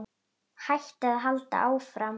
Hætta eða halda áfram?